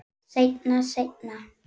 Seinna, seinna.